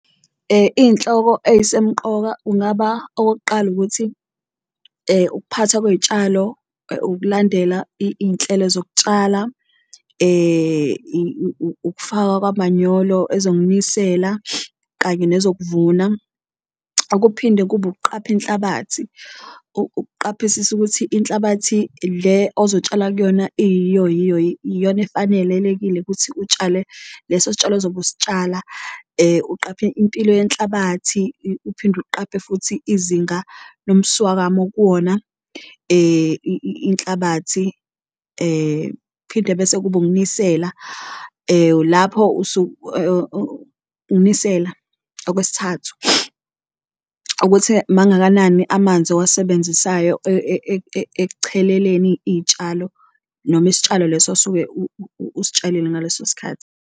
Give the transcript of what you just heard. Iy'nhloko ey'semqoka ungaba okokuqala ukuthi ukuphatha kwey'tshalo, ukulandela iy'nhlelo zokutshala, ukufakwa kwamanyolo, ezokunisela kanye nezokuvuna. Okuphinde kube ukuqapha inhlabathi, ukuqaphisisa ukuthi inhlabathi le ozotshala kuyona iyiyo yiyo iyona efanelekile kuthi utshale leso sitshalo ozobe usitshala. Uqaphe impilo yenhlabathi uphinde uqaphe futhi izinga lomswakamo okuwona inhlabathi, phinde bese kuba ukunisela lapho ukunisela. Okwesithathu, ukuthi mangakanani amanzi owasebenzisayo ekucheleleni iy'tshalo noma isitshalo leso osuke usitshalile ngaleso sikhathi.